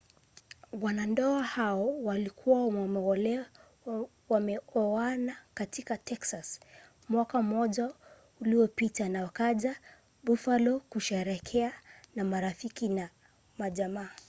wanandoa hao walikuwa wameoana katika texas mwaka mmoja uliopita na wakaja buffalo kusherehekea na marafiki na jamaa